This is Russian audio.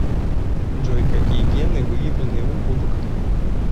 джой какие гены выявлены у губок